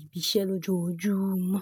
ibi iṣẹ́ lójoojúmọ́.